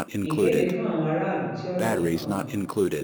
ìkéde fún àwọn àwọn aráàlú tí ọrọ yìí kàn